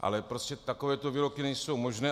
Ale prostě takovéto výroky nejsou možné.